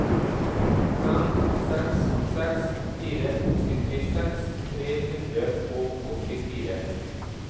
fem seks seks fire syttiseks tre hundre og åttifire